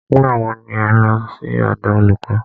Nígbà wo ni ẹ̀ ń lọ sí ọ̀dọ̀ olùkọ́?